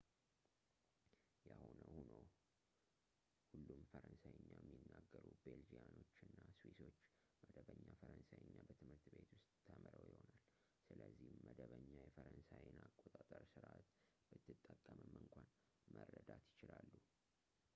የሆነው ሆኖ ሁሉም ፈረንሳይኛ የሚናገሩ ቤልጂያኖች እና ስዊሶች መደበኛ ፈረንሳይኛ በትምህርት ቤት ውስጥ ተምረው ይሆናል ስለዚህም መደበኛ የፈረንሳይን አቆጣጠር ስርዓት ብትጠቀምም እንኳን መረዳት ይችላሉ